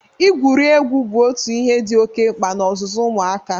Igwuri egwu bụ ọtụ ihe dị oke mkpa n'ọzụzụ ụmụaka.